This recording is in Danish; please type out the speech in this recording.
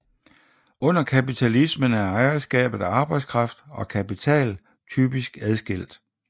Under kapitalismen er ejerskabet af arbejdskraft og kapital typisk adskilt